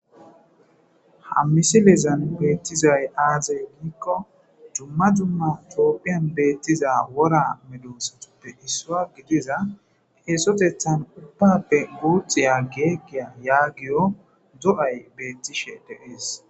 Ham misilezan beettizay aazey giikko jumma jumma coophiyan beettiza wora medosatude issua gidiza eesotethan upbappe guuxiya geeqgiya yaagiyo do7ay beettishe deees.